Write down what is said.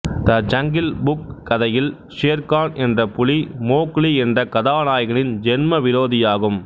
த Jungle Book கதையில் ஷேர் கான் என்ற புலி மோக்லி என்ற கதாநாயகனின் ஜென்ம விரோதியாகும்